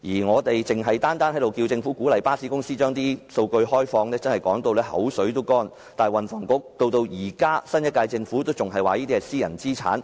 我們單是要求政府鼓勵巴士公司開放數據已經說到口乾，但運輸及房屋局，以至新一屆政府仍然表示這些屬於私人資產。